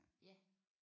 Ja